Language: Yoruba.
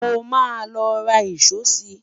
mọ má ló rà ìsọ si